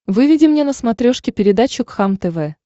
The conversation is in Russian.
выведи мне на смотрешке передачу кхлм тв